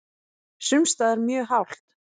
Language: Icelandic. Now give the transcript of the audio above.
Sums staðar mjög hált